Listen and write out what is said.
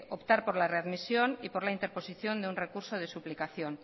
optar por la readmisión y por la interposición de un recurso de suplicación